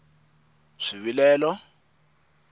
swivilelo